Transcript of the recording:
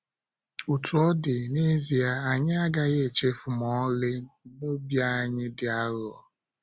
Otú ọ dị, n’ezie, anyị agaghị echefu ma ọlị na obi anyị dị aghụghọ.